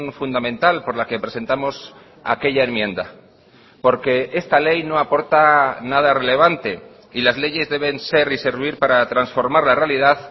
fundamental por la que presentamos aquella enmienda porque esta ley no aporta nada relevante y las leyes deben ser y servir para transformar la realidad